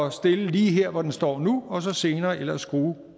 at stille lige her hvor den står nu og så senere ellers skrue